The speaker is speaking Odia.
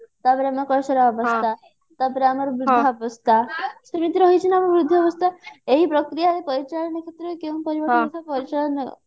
ତାପରେ ଆମର କୈଶୋର ଅବସ୍ଥା ତାପରେ ଆମର ବୃଦ୍ଧା ଅବସ୍ଥା ସେମିତି ରହିଛି ନା ଆମ ବୃଦ୍ଧି ଅବସ୍ଥା ଏହି ପ୍ରକ୍ରିୟାରେ ପରିଚାଳନା କ୍ଷେତ୍ରରେ କେଉଁ ପରିଚାଳନା